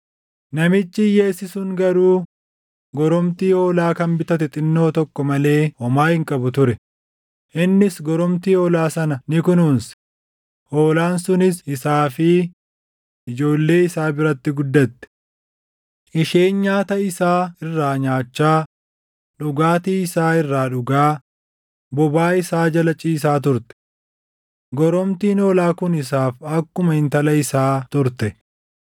namichi hiyyeessi sun garuu goromtii hoolaa kan bitate xinnoo tokko malee homaa hin qabu ture; innis goromtii hoolaa sana ni kunuunse; hoolaan sunis isaa fi ijoollee isaa biratti guddatte. Isheen nyaata isaa irraa nyaachaa, dhugaatii isaa irraa dhugaa, bobaa isaa jala ciisaa turte. Goromtiin hoolaa kun isaaf akkuma intala isaa turte.